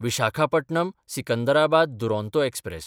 Visakhapatnam Secunderabad Duronto express